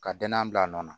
Ka danaya bila a nɔ na